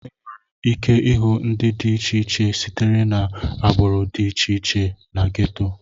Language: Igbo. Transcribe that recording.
Enwere ike ịhụ ndị dị iche iche sitere na agbụrụ dị iche iche na gétò